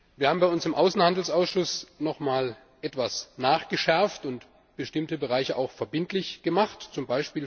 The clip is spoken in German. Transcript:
Wir haben bei uns im Außenhandelsausschuss noch mal etwas nachgeschärft und bestimmte Bereiche auch verbindlich gemacht, z.